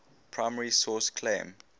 primary source claim